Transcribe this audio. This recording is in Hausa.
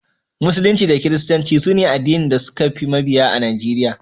Musulunci da Kiristanci su ne addinan da suka fi mabiya a Najeriya.